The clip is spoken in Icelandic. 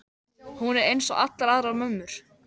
Hún er einsog allar aðrar mömmur.